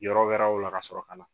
Yɔrɔ wɛrɛw la ka sɔrɔ ka na.